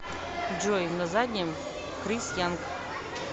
джой на заднем крис янк